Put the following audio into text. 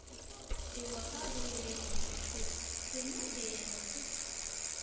the goats dey waka go where dem dey stay dem nor dey ene push each oda